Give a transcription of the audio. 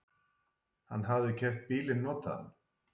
Hann hafði keypt bílinn notaðan.